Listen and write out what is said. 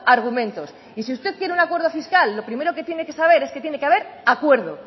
argumentos y si usted quiere un acuerdo fiscal lo primero que tiene que saber es que tiene que haber acuerdo